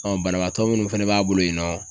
banabaatɔ minnu fɛnɛ b'a bolo yen nɔ